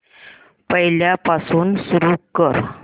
पहिल्यापासून सुरू कर